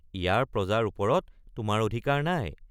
ইয়াৰ প্ৰজাৰ ওপৰত তোমাৰ অধিকাৰ নাই।